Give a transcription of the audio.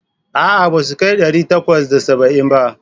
A'a, ba su kai ɗari takwas da saba'in ba.